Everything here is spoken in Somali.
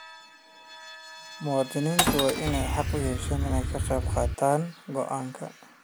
Muwaadiniintu waa inay xaq u yeeshaan inay ka qayb qaataan go'aanka.